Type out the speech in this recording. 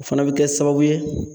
O fana bɛ kɛ sababu ye